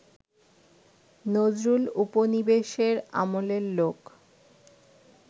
নজরুল উপনিবেশের আমলের লোক